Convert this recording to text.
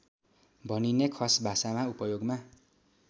भनिने खसभाषामा उपयोगमा